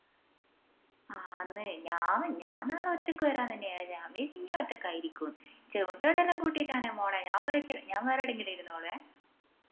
ആന്ന് ഞാൻ നാളെ ഒറ്റക്ക് വേരാന്ന് തന്നെയാ വിചാരിച്ച ഞാൻ വിചാരിച് ഇഞ്ഞും ഒറ്റയ്ക്കാരിക്കുമെന്ന് ചിമിട്ടുകളെയെല്ലാം കൂട്ടിട്ടാണെൽ മോളെ ഞാൻ വേറെ എടെയെങ്കിലും ഇരുന്നോളുമെ